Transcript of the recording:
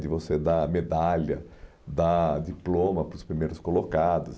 De você dar medalha, dar diploma para os primeiros colocados.